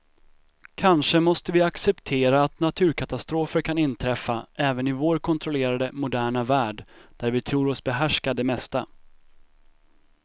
Kanske måste vi acceptera att naturkatastrofer kan inträffa även i vår kontrollerade, moderna värld där vi tror oss behärska det mesta.